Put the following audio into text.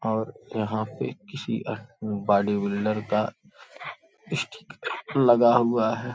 और यहां पे किसी बॉडी बिल्डर का स्टिक लगा हुआ है।